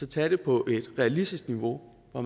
tage det på et realistisk niveau hvor